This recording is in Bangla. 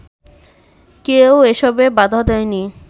কেউ এসবে বাধা দেয়নি